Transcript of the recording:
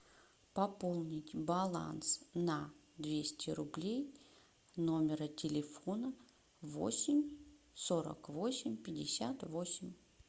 пополнить баланс на двести рублей номера телефона восемь сорок восемь пятьдесят восемь